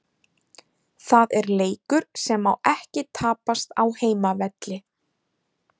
Það er leikur sem má ekki tapast á heimavelli.